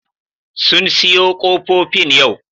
Sun siyo ƙofofin yau